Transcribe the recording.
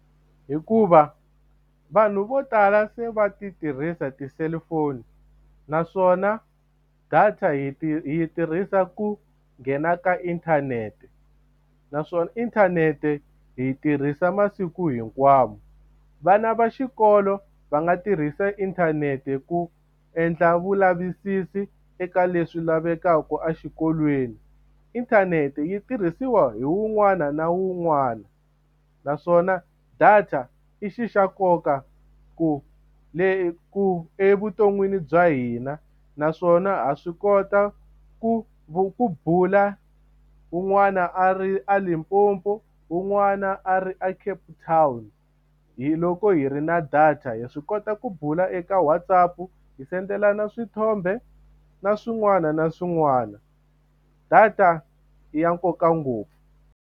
Hikuva vanhu vo tala se va ti tirhisa ti-cellphone naswona data hi yi tirhisa ku nghena ka inthanete naswona inthanete hi tirhisa masiku hinkwawo vana va xikolo va nga tirhisa inthanete ku endla vulavisisi eka leswi lavekaka exikolweni inthanete yi tirhisiwa hi wun'wana na wun'wana u naswona data i xi xa nkoka ku le ku evuton'wini bya hina naswona ha swi kota ku ku bula un'wana a ri a Limpopo un'wana a ri a Cape Town hi loko hi ri na data hi swi kota ku bula eka Whatsapp hi sendelana swithombe na swin'wana na swin'wana data i ya nkoka ngopfu.